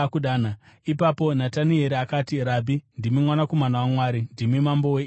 Ipapo Natanieri akati, “Rabhi, ndimi Mwanakomana waMwari; ndimi Mambo weIsraeri.”